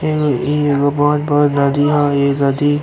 एगो इ एगो बहुत बड़ नदी ह इ नदी।